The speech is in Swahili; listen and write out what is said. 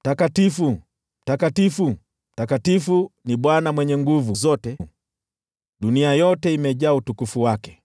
“Mtakatifu, Mtakatifu, Mtakatifu ni Bwana Mwenye Nguvu Zote; dunia yote imejaa utukufu wake.”